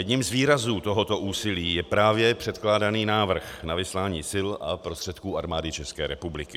Jedním z výrazů tohoto úsilí je právě předkládaný návrh na vyslání sil a prostředků Armády České republiky.